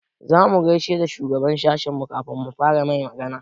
Za mu gaishe da shugaban sashinmu kafin mu fara mai magana.